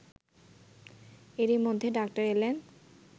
এরই মধ্যে ডাক্তার এলেন